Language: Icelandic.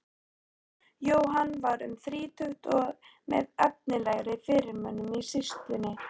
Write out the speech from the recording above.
Jóhann var um þrítugt og með efnilegri fyrirmönnum í sýslunni.